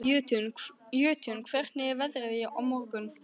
Jötunn, hvernig er veðrið á morgun?